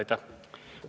Aitäh!